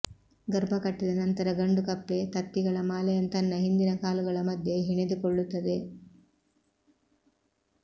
ಗರ್ಭಕಟ್ಟಿದ ನಂತರ ಗಂಡುಕಪ್ಪೆ ತತ್ತಿಗಳ ಮಾಲೆಯನ್ನು ತನ್ನ ಹಿಂದಿನ ಕಾಲುಗಳ ಮಧ್ಯೆ ಹೆಣೆದುಕೊಳ್ಳುತ್ತದೆ